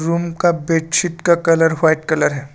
Room का bedsheet का colour white colour है।